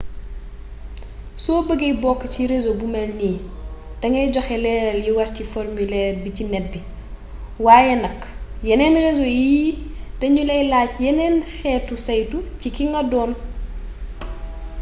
soo bëggee bokk ci réseau bu ni mel dangay joxe leeral yi war ci formulaire bi ci net bi waaye nak yeneen reseau yi dañu laay laaj yeneen xeetu saytu ci ki nga doon